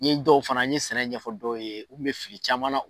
N ye dɔw fana n ye sɛnɛ ɲɛfɔ dɔw ye u kun bɛ fili caman na.